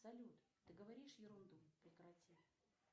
салют ты говоришь ерунду прекрати